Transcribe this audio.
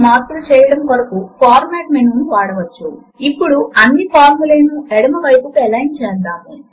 మనము grey box బయట ఉన్న వ్రైటర్ ఏరియాలో క్లిక్ చేస్తే మాత్ విండోస్ మాయము అవుతాయి